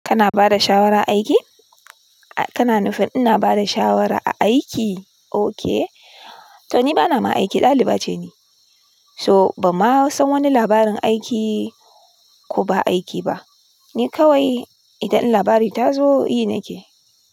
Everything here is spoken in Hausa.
Kana bada shawara aiki? Kana nufin ina bada shawara a aiki? Okay. To ni bana ma aiki ɗaliba ce ni. So ban ma san wani labarin aiki ko ba aiki ba. Ni kawai idan labari ta zo yi nake.